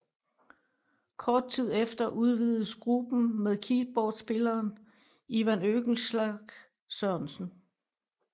Kort tid efter udvidedes gruppen med keyboardspilleren Ivan Oehlenschlaeg Sørensen